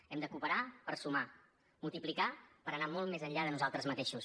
hem de cooperar per sumar multiplicar per anar molt més enllà de nosaltres mateixos